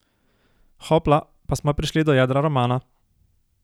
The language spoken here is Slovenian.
Hopla, pa smo prišli do jedra romana!